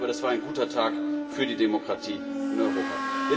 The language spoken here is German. Sicher nicht, aber das war ein guter Tag für die Demokratie in Europa.